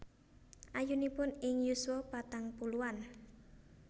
Ayunipun ing yuswa patang puluhan